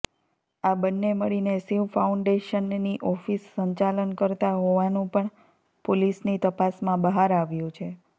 આ બંને મળીને શિવ ફાઉન્ડેશનની ઓફિસ સંચાલન કરતા હોવાનું પણ પોલીસની તપાસમાં બહાર આવ્યુ છે